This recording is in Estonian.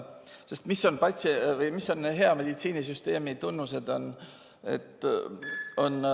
Sest mis on hea meditsiinisüsteemi tunnused?